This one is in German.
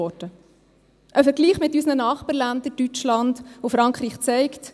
Ein Vergleich mit unseren Nachbarländern Deutschland und Frankreich zeigt: